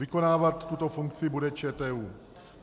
Vykonávat tuto funkci bude ČTÚ.